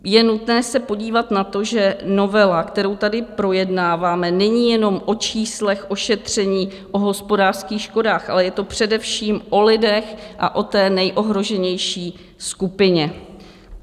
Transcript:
Je nutné se podívat na to, že novela, kterou tady projednáváme, není jenom o číslech, o šetření, o hospodářských škodách, ale je to především o lidech a o té nejohroženější skupině.